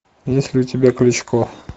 есть ли у тебя кличко